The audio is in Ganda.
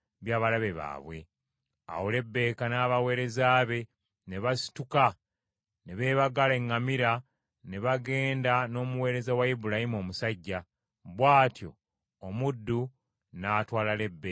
Awo Lebbeeka n’abaweereza be ne basituka ne beebagala eŋŋamira ne bagenda n’omuweereza wa Ibulayimu omusajja, bw’atyo omuddu n’atwala Lebbeeka ne bagenda.